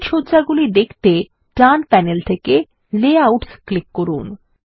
slide সজ্জাগুলি দেখতে ডান প্যানেল থেকে লেআউটস ক্লিক করুন